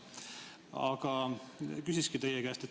Aga küsingi teie käest.